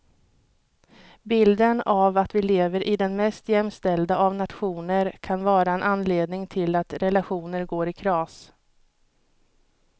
Bilden av att vi lever i den mest jämställda av nationer kan vara en anledning till att relationer går i kras.